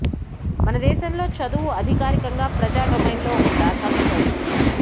మన దేశంలో చదువు అధికారికంగా ప్రజా డొమైన్ లో ఒక ప్రాధాన్యత ఉంది